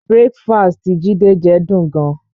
Breakfast tí Jide jẹ dùn ún gan